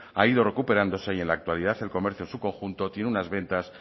ha ido recuperándose y en la actualidad el comercio en su conjunto tiene unas ventas